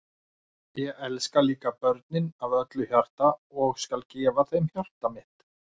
Ég elska líka börnin af öllu hjarta og ég skal gefa þeim hjarta mitt.